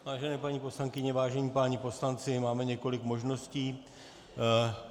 Vážené paní poslankyně, vážení páni poslanci, máme několik možností.